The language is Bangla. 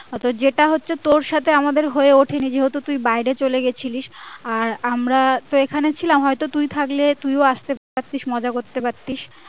হয়তো যেটা হচ্ছে তোর সাথে আমাদের হয়ে উঠেনি যেহেতু তুই বাইরে চলে গেছিলিশ আর আমরা তো এখানে ছিলাম হয়তো তুই থাকলে তুই ও আসতে পারতিস মজা করতে পারতিস